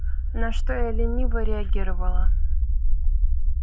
на что я лениво реагировала